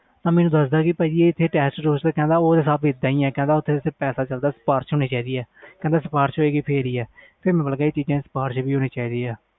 ਉਹ ਮੈਨੂੰ ਦਸ ਦਾ ਟੈਸਟ ਇਹਦਾ ਹੀ ਪੈਸਾ ਚਲਦਾ ਇਹਦੇ ਤੇ ਸੀਪਰਿਸ਼ ਚਲਦੀ ਕਹਿੰਦਾ ਸੀਪਰਿਸ਼ ਹੋਵੇ ਗਏ ਤਾਹਿ